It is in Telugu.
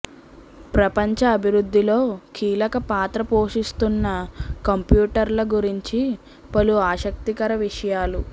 ప్రపంచ అభివృద్థిలో కీలక పాత్ర పోషిస్తోన్న కంప్యూటర్ల గురించి పలు ఆసక్తికర విషయాలు